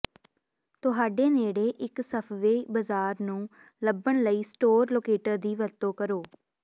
ਤੁਹਾਡੇ ਨੇੜੇ ਇੱਕ ਸਫਵੇ ਬਾਜ਼ਾਰ ਨੂੰ ਲੱਭਣ ਲਈ ਸਟੋਰ ਲੋਕੇਟਰ ਦੀ ਵਰਤੋਂ ਕਰੋ